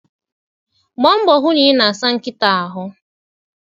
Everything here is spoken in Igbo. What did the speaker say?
Gbaa mbọ hụ na ị na-asa nkịta ahụ.